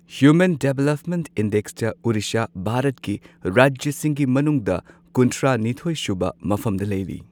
Human development ꯏꯟꯗꯦꯛꯁꯇ ꯑꯣꯗꯤꯁꯥ ꯚꯥꯔꯠꯀꯤ ꯔꯥꯖ꯭ꯌꯁꯤꯡꯒꯤ ꯃꯅꯨꯡꯗ ꯀꯨꯟꯊ꯭ꯔꯥ ꯅꯤꯊꯣꯏꯁꯨꯕ ꯃꯐꯝꯗ ꯂꯩꯔꯤ꯫